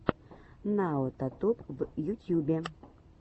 наотатуб в ютьюбе